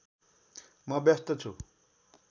म व्यस्त छु